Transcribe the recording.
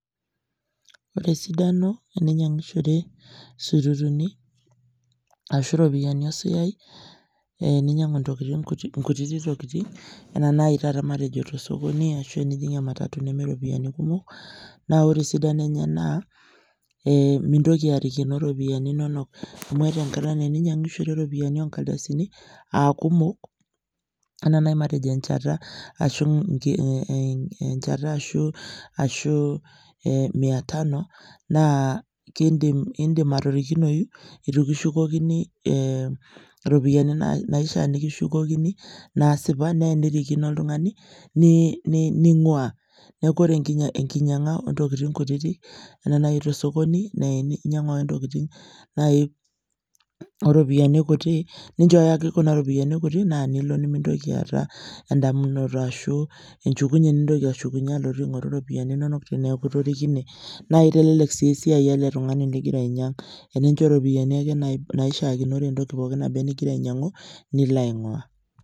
ore esidano teninyang'ishore sururuni ashu ropiani osuyai ee ninyang'u ntokitin kuti nkutiti tokiting anaa naai taata matejo tosokoni ashu enijing ematatu neme ropiani kumok, naa ore esidano enye naa eeh mintoki arikino ropiani inonok amu eeta enkata ninyang'ishore ropiani o nkardasini aa kumok enaa naai matejo enchata ashu nke eeh ee nchata ashu ashu eeh mia tano naa kindim indim atorikinoyu eitu kishukokini eeh ropiani naishaa nikishukokini naasipa na enirikino oltung'ani ni ni ning'uaa neeku ore enkinyang'a o ntokiting kutiti enaa naetuo osokoni neei inyang'u ake ntokiting naai o ropiani kuti, ninchooyo kuna ropiani kuti naa nilo nimintoki aata endamunoto ashu enchukunye nintoki ashukunye alotu aing'oru ropiani inonok teneeku itorikine naa eitelelek sii esiai ele tung'ani ligira ainyang, tenincho ropiani ake nai naishaakinore entoki pookin naba enigira ainyang'u nilo aing'uaa